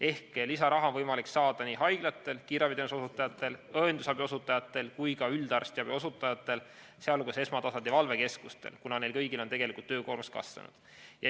Ehk lisaraha on võimalik saada nii haiglatel, kiirabiteenuse osutajatel, õendusabi osutajatel kui ka üldarstiabi osutajatel, sh esmatasandi valvekeskustel, kuna neil kõigil on tegelikult töökoormus kasvanud.